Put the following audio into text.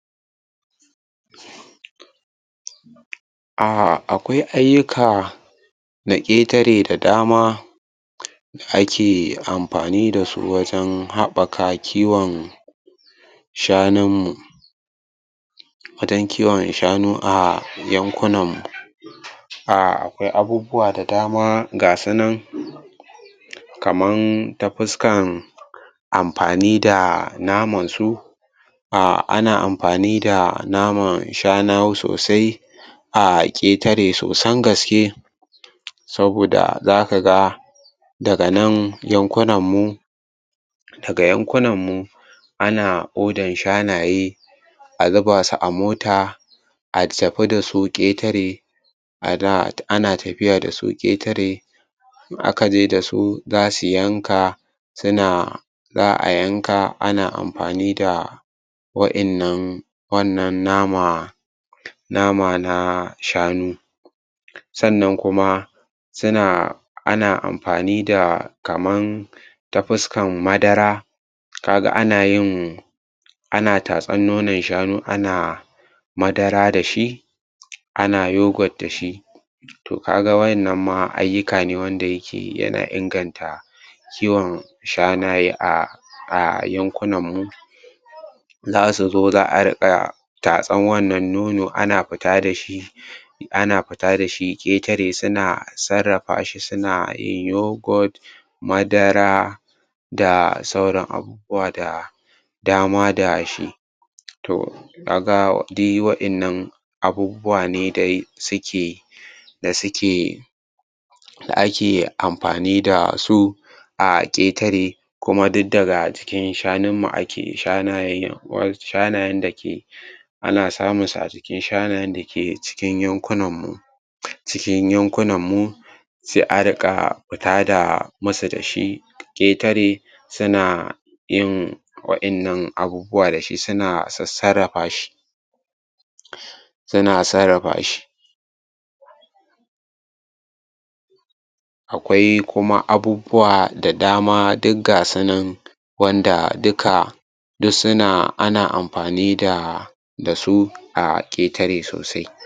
Ah akwai ayyuka na ƙetare da dama, ake amfani da su wajen haɓaka kiwon shanunmu wajen kiwon shanu a yankunanmu. Akwai abubuwa da dama ga su nan kamar ta fuskan amfani da namansu a ana amfani da naman shanu sosai a ƙetare sosan gaske saboda za ka ga daga nan yankunamum daga yankunan mu ana odan shanaye a zuba su a mota a tafi ƙetare a da ana tafiya da su ƙetare in aka je da su za su yanka suna za a yanka ana amfani da wa'innan wannan nama nama na shanu sannan kuma suna ana amfani da kaman ta fuskan madara ka ga ana yin ana tatsar nonon shanu ana yin madara da shi ana yougurt da shi ka ga ma wannan ayyukane wanda yake yana inganta kiwon shanaye a yankunanmu za su zo za a riƙa tatsar wannan nono ana fita da shi ana fita da shi ƙetare suna sarrafa shi suna suna yin yougurt madara da sauran abubuwa da dama da she to ka ga dai wa'innan abubuwa ne dai da suke da suke da ake amfani da su a ƙetare kuma duk daga cikinnmu hanunmu ake shanayen dake ana samun su a cikin shanayen dake cikin yankunan mu cikin yankunanmu sai a riƙa masu da shi ƙetare suna yin wa'innan abubuwa da shi suna sassarrafa shi suna sarrafa shi akwai kuma abubbuwa da dama duk ga su nan wanda duka duk suna ana amfani da su a ƙetare sosai.